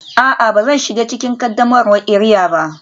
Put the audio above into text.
A'a, ba zan shiga cikin qaddamarwar iria ba